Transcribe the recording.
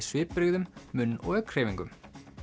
svipbrigðum munn og augnhreyfingum